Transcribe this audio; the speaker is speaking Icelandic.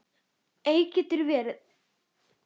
Eik getur verið